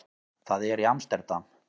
Það er í Amsterdam.